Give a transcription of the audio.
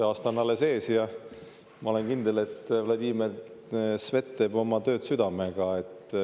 Aasta on alles ees ja ma olen kindel, et Vladimir Svet teeb oma tööd südamega.